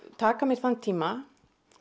taka mér þann tíma